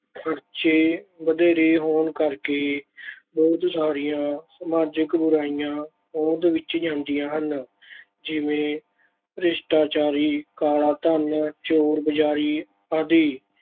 ਖ਼ਰਚੇ ਵਧੇਰੇ ਹੋਣ ਕਰਕੇ ਬਹੁਤ ਸਾਰੀਆਂ ਸਮਾਜਕ ਬੁਰਾਈਆਂ ਹੋਂਦ ਵਿੱਚ – ਜਾਂਦੀਆਂ ਹਨ, ਜਿਵੇਂ ਭ੍ਰਿਸ਼ਟਾਚਾਰੀ, ਕਾਲਾ ਧਨ, ਚੋਰ-ਬਜ਼ਾਰੀ ਆਦਿ।